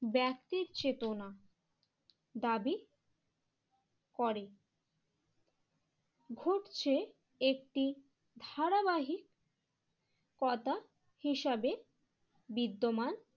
ব্যক্তির চেতনা দাবি করে। ঘটছে একটি ধারাবাহিক কতা হিসাবে বিদ্যমান